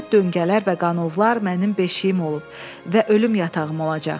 Xəlvət döngələr və qanovlar mənim beşiyim olub və ölüm yatağım olacaq.